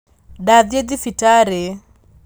Ndathiĩ thibitarĩ